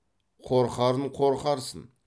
қорқарын қорқарсын